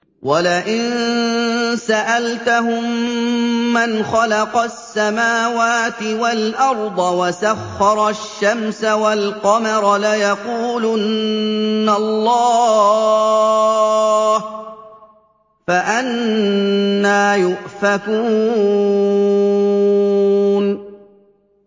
وَلَئِن سَأَلْتَهُم مَّنْ خَلَقَ السَّمَاوَاتِ وَالْأَرْضَ وَسَخَّرَ الشَّمْسَ وَالْقَمَرَ لَيَقُولُنَّ اللَّهُ ۖ فَأَنَّىٰ يُؤْفَكُونَ